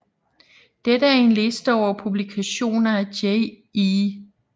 Dette er en liste over publikationer af Jay E